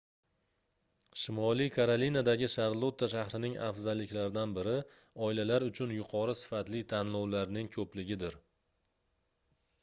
shimoliy karolinadagi sharlotta shahrining afzalliklaridan biri oilalar uchun yuqori sifatli tanlovlarning koʻpligidir